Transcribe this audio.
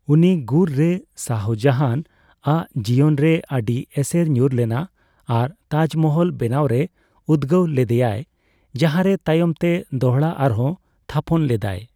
ᱩᱱᱤ ᱜᱩᱨ ᱨᱮ ᱥᱟᱦᱚᱡᱟᱦᱟᱱ ᱟᱜ ᱡᱤᱭᱚᱱᱨᱮ ᱟᱹᱰᱤ ᱮᱥᱮᱨ ᱧᱩᱨ ᱞᱮᱱᱟ ᱟᱨ ᱛᱟᱡᱢᱚᱦᱚᱞ ᱵᱮᱱᱟᱣ ᱨᱮ ᱩᱫᱜᱟᱹᱣ ᱞᱮᱫᱮᱭᱟᱭ ᱾ ᱡᱟᱸᱦᱟᱨᱮ ᱛᱟᱭᱚᱢ ᱛᱮ ᱫᱚᱲᱦᱟ ᱟᱨᱦᱚᱸ ᱛᱷᱟᱯᱚᱱ ᱞᱮᱫᱟᱭ ᱾